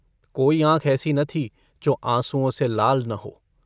कोई आँख ऐसी न थी जो आँसुओं से लाल न हो।